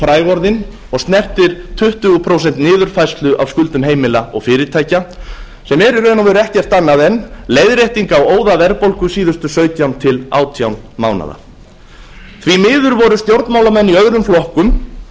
fræg orðin og snertir tuttugu prósent niðurfærslu á skuldum heimila og fyrirtækja sem er í raun og veru ekkert annað en leiðrétting á óðaverðbólgu síðustu sautján til átján mánaða því miður voru stjórnmálamenn i öðrum flokkum